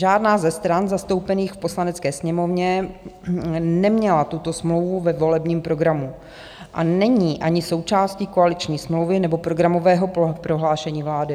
Žádná ze stran zastoupených v Poslanecké sněmovně neměla tuto smlouvu ve volebním programu a není ani součástí koaliční smlouvy nebo programového prohlášení vlády.